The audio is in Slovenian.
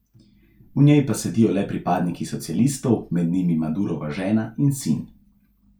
V njej pa sedijo le pripadniki socialistov, med njimi Madurova žena in sin.